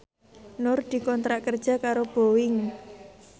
Nur dikontrak kerja karo Boeing